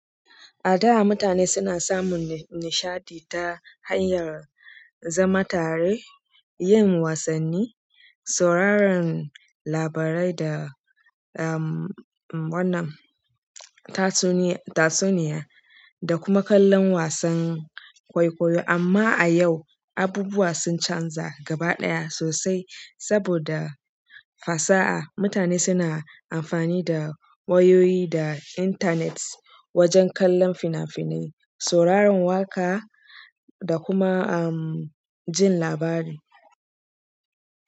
A da mutane suna samun nishaɗi ta hanyar zama tare, yin wasanni, sauraron labarai da, um, wannan tatsuniya, tatsuniya da kuma kallon wasan kwaikwayo. Amma a yau abubuwa sun canza gaba ɗaya sosai saboda fasaha. Mutane suna amfani da wayoyi da intanet wajen kallon fina-finai, sauraron waƙa da kuma, um, jin labari.